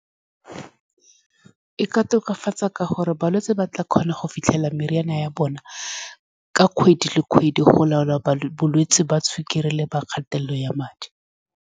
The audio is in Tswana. E ka tokafatsa, ka gore balwetse ba tla kgona go fitlhela meriana ya bona ka kgwedi le kgwedi, go laola bolwetse ba sukiri le kgatelelo ya madi.